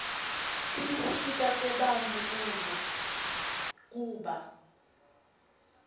tinsita tebantfu kuba